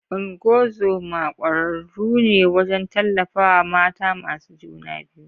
Ungozoma kwararru ne wajen tallafawa mata masu juna biyu.